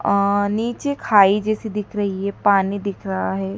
और नीचे घाई जैसी दिख रही है पानी दिख रहा है।